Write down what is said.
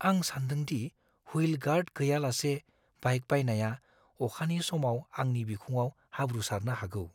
आं सानदों दि हुइल गार्ड गैयालासे बाइक बायनाया अखानि समाव आंनि बिखुङाव हाब्रु सारनो हागौ।